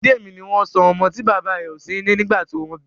Bidemi ní wón sọ ọmọ tí bàbá rẹ o sí nílé nígbà tí wón bí